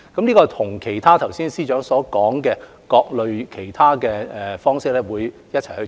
這跟剛才司長提及的各類其他措施一併進行。